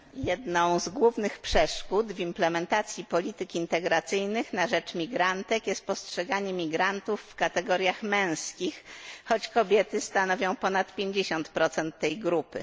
Jedną z głównych przeszkód w realizacji polityk integracyjnych na rzecz migrantek jest postrzeganie migrantów w kategoriach męskich, choć kobiety stanowią ponad 50 tej grupy.